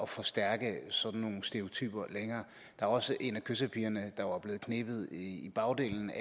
forstærke sådan nogle stereotyper længere der var også en af kyssepigerne der var blevet knebet i bagdelen